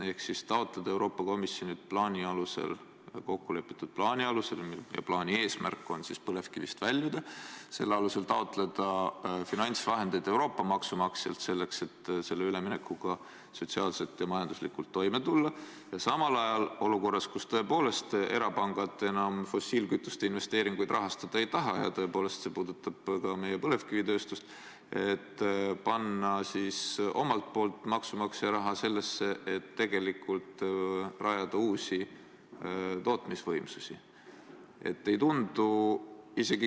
Ehk siis taotleda Euroopa Komisjonilt kokkulepitud plaani alusel – ja plaani eesmärk on põlevkivist väljuda – finantsvahendeid Euroopa maksumaksjalt selleks, et üleminekuga sotsiaalselt ja majanduslikult toime tulla, ja samal ajal, olukorras, kus tõepoolest erapangad enam fossiilkütuste investeeringuid rahastada ei taha – ja see puudutab ka meie põlevikivitööstust –, panna omalt poolt maksumaksja raha sellesse, et tegelikult rajada uusi tootmisvõimsusi.